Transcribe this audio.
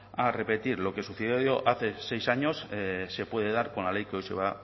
a repetir lo que sucedió hace seis años se puede dar con la ley que hoy se va